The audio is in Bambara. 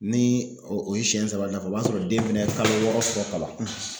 Ni o ye siyɛn saba dafa o b'a sɔrɔ den fɛnɛ ye kalo wɔɔrɔ sɔrɔ kaban.